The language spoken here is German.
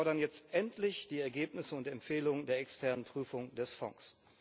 Wir fordern jetzt endlich die Ergebnisse und Empfehlungen der externen Prüfung des Fonds!